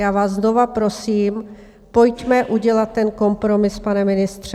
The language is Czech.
Já vás znova prosím, pojďme udělat ten kompromis, pane ministře.